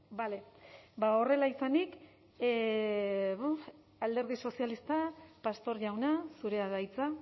bale ba horrela izanik alderdi sozialista pastor jauna zurea da hitza